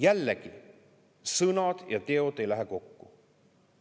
Jällegi, sõnad ja teod ei lähe kokku.